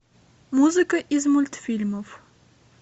музыка из мультфильмов